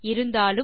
இருந்தாலும்